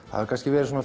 það hafa kannski verið